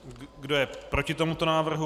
Kdo je proti tomuto návrhu?